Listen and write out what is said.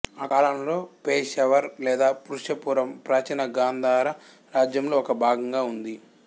ఆ కాలంలో పెషావర్ లేదా పురుషపురం ప్రాచీన గాంధార రాజ్యంలో ఒక భాగంగా ఉంది